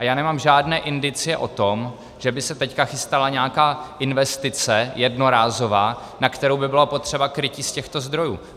A já nemám žádné indicie o tom, že by se teď chystala nějaká investice jednorázová, na kterou by bylo potřeba krytí z těchto zdrojů.